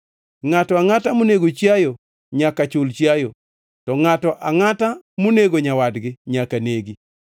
Ngʼato angʼata monego chiayo nyaka chul chiayo, to ngʼato angʼata monego nyawadgi nyaka negi.